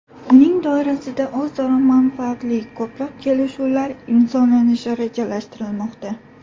Uning doirasida o‘zaro manfaatli ko‘plab kelishuvlar imzolanishi rejalashtirilmoqda.